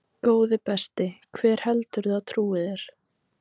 Góði besti, hver heldurðu að trúi þér?